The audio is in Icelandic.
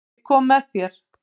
Ég kom með þér.